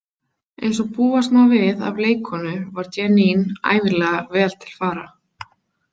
Eins og búast má við af leikkonu var Jeanne ævinlega vel til fara.